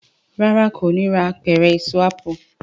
ràrá kò ní rà Apẹ̀rẹ̀ Èso ápù.